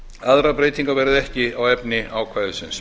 aðrar breytingar verða ekki á efni ákvæðisins